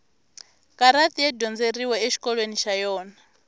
karati ya dyondzeriwa exikolweni xa yona